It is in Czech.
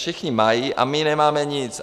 Všichni mají a my nemáme nic.